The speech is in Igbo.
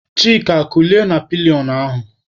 Chika kulie na pilionụ ahụ!